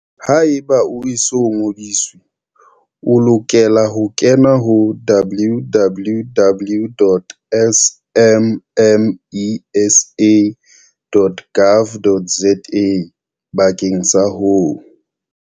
Haeba o e so ngodiswe, o lokela ho kena ho www.smmesa.gov.za bakeng sa ho.